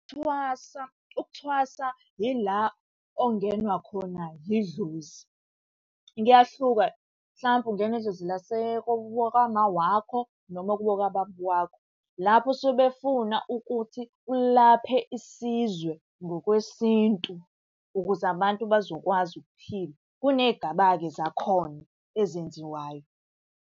Thwasa, ukuthwasa yila ongenwa khona yidlozi. Kuyahluka mhlampe ungenwa idlozi kwama wakho noma kubo kwababa wakho. Lapho suke befuna ukuthi ulaphe isizwe ngokwesintu, ukuze abantu bezokwazi ukuphila. Kuney'gaba-ke zakhona ezenziwayo.